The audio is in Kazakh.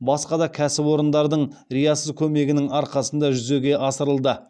басқа да кәсіпорындардың риясыз көмегінің арқасында жүзеге асырылды